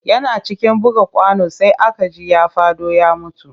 Yana cikin buga kwano sai aka ji ya faɗo ya mutu